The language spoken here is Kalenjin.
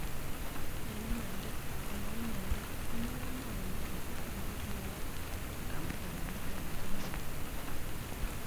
"Ing' imanda kemwa imanda ane komangen kabisa agobo kiotok," kamwa kamet ab Janeth.